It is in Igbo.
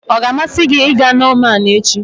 Ọ ga-amasị gị ịga Norman echi?